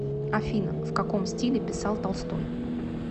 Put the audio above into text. афина в каком стиле писал толстой